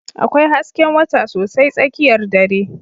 Akwai hasken wata sosai tsakiyar dare.